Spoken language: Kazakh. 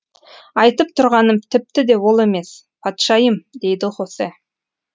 айтып тұрғаным тіпті де ол емес патшайым дейді хосе